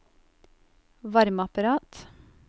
varmeapparat